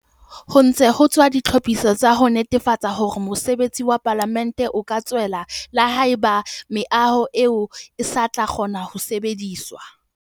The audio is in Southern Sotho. Ho ntse ho etswa ditlhophiso tsa ho netefatsa hore mosebetsi wa Palamente o ka tswella le haeba meaho eo e sa tlo kgona ho sebediswa.